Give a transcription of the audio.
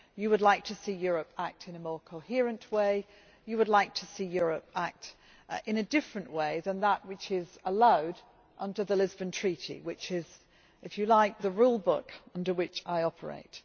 You would like to see Europe act in a more coherent way. You would like to see Europe act in a different way than that which is allowed under the Lisbon Treaty which is, if you like, the rule book under which I operate.